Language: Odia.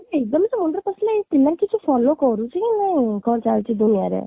zone ରେ ପଶିଲେ ପିଲାଙ୍କୁ କିଛି କରୁଛି ନା ନାହିଁ କ'ଣ ଚାଲିଛି ଦୁନିଆରେ